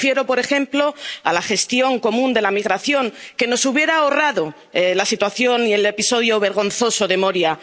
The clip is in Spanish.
Y me refiero, por ejemplo, a la gestión común de la migración, que nos hubiera ahorrado la situación y el episodio vergonzoso de Moria.